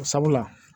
Sabula